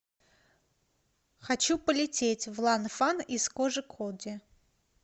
хочу полететь в ланфан из кожикоде